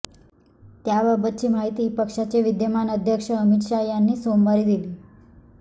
त्याबाबतची माहिती पक्षाचे विद्यमान अध्यक्ष अमित शहा यांनी सोमवारी दिली